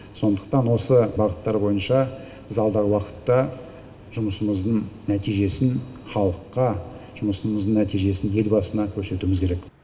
сондықтан осы бағыттар бойынша біз алдағы уақытта жұмысымыздың нәтижесін халыққа жұмысымыздың нәтижесін елбасына көрсетуіміз керек